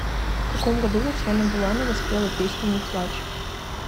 в каком году татьяна буланова спела песню не плачь